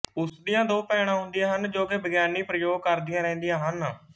ਉਸਦੀਆਂ ਦੋ ਭੈਣਾਂ ਹੁੰਦੀਆਂ ਹਨ ਜੋ ਕਿ ਵਿਗਿਆਨਕ ਪ੍ਰਯੋਗ ਕਰਦੀਆਂ ਰਹਿੰਦੀਆਂ ਹਨ